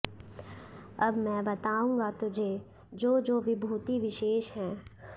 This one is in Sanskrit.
अब मैं बताऊँगा तुझे जो जो विभूति विशेष हैं